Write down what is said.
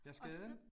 Ja skaden?